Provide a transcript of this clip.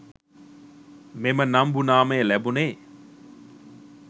මෙම නම්බු නාමය ලැබුණේ